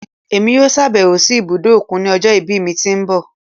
Èmi yóò ṣàbẹ̀wò sí ibùdó òkun ní ọjọ́ ìbí mi tí ń bọ̀.